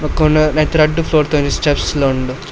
ಬಕೊಂಡ್ ನೆಟ್ಟ್ ರಡ್ಡ್ ಫ್ಲೋರ್ ದ ಒಂಜಿ ಸ್ಟೆಪ್ಸ್ ಲ ಉಂಡು.